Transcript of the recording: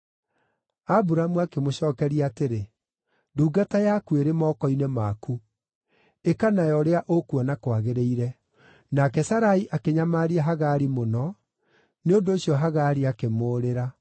Aburamu akĩmũcookeria atĩrĩ, “Ndungata yaku ĩrĩ moko-inĩ maku. Ĩka nayo ũrĩa ũkuona kwagĩrĩire.” Nake Sarai akĩnyamaria Hagari mũno; nĩ ũndũ ũcio Hagari akĩmũũrĩra.